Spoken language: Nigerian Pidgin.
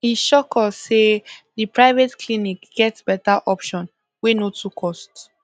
e shock us say the private clinic get better option wey no too cost